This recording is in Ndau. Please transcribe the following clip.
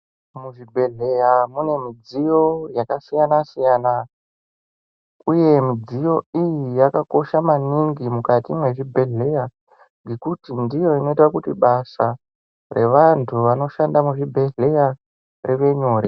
Muzvibhedhleya mune midziyo yakasiyana-siyana, uye midziyo iyi yakakosha maningi mukati mwezvibhedhleya. Ngekuti ndiyo inoita kuti basa revantu vanoshanda muzvibhedhleya rivenyore.